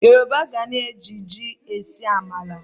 Yoroba gana e ji ji ese amala.